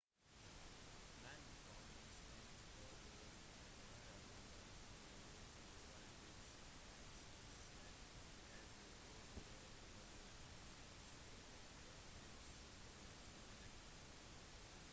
mannen som mistenkt for å detonere bomben ble varetektsfengslet etter å ha pådratt seg skader fra eksplosjonen